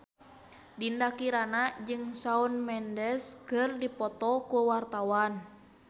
Dinda Kirana jeung Shawn Mendes keur dipoto ku wartawan